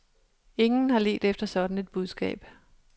Ingen har ledt efter sådan et budskab.